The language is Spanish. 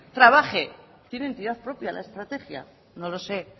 trabaje tiene entidad propia la estrategia no lo sé